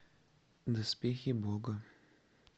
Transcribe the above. доспехи бога